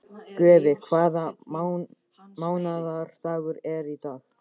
Guffi, hvaða mánaðardagur er í dag?